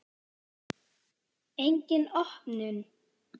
Engin opnun.